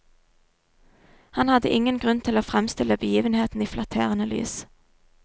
Han hadde ingen grunn til å fremstille begivenheten i flatterende lys.